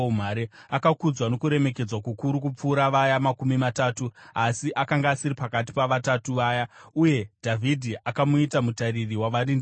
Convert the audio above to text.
Akakudzwa nokuremekedzwa kukuru kupfuura Vaya Makumi Matatu, asi akanga asiri pakati paVatatu Vaya. Uye Dhavhidhi akamuita mutariri wavarindi vake.